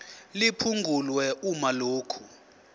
liphungulwe uma lokhu